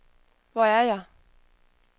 Hvor er jeg